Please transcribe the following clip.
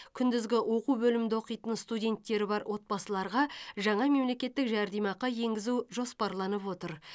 күндізгі оқу бөлімінде оқитын студенттері бар отбасыларға жаңа мемлекеттік жәрдемақы енгізу жоспарланып отыр